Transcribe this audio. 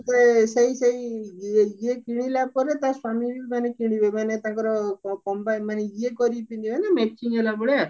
ସେ ସେଇ ସେଇ ଇଏ କିଣିଲା ପରେ ତା ସ୍ଵାମୀ ବି ମାନେ କିଣିବେ ମାନେ ତାଙ୍କର ଇଏ କରିକି ପିନ୍ଧିବେ ନା matching ହେଲା ଭଳିଆ